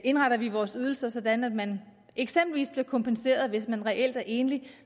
indretter vi vores ydelser sådan at man eksempelvis bliver kompenseret hvis man reelt er enlig